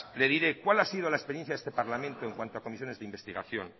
le diré cuál ha sido la experiencia de este parlamento en cuanto a comisiones de investigación